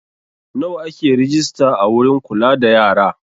Nawa ake rejista a wurin kula da yara?